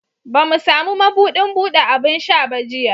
Ba mu sami mabudin bude abin sha ba jiya